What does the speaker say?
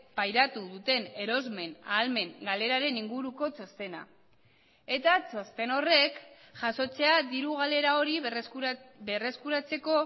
pairatu duten erosmen ahalmen galeraren inguruko txostena eta txosten horrek jasotzea diru galera hori berreskuratzeko